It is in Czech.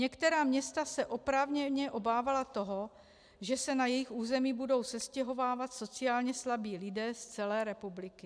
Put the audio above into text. Některá města se oprávněně obávala toho, že se na jejich území budou sestěhovávat sociálně slabí lidé z celé republiky.